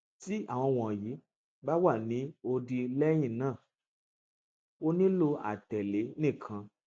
ti awọn wọnyi ba wa ni odi lẹhinna o nilo atẹle nikan